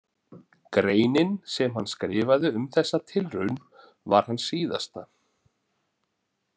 Greinin sem hann skrifaði um þessa tilraun var hans síðasta.